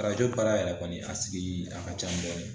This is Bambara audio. Arajo para yɛrɛ kɔni a sigi a ka can dɔɔni